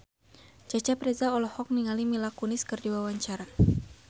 Cecep Reza olohok ningali Mila Kunis keur diwawancara